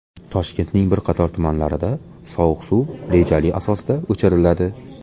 Toshkentning bir qator tumanlarida sovuq suv rejali asosda o‘chiriladi.